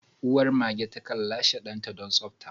Uwar mage takan lashe danta don tsabta.